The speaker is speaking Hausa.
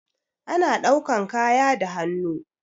Ana ɗaukan kaya da hannu.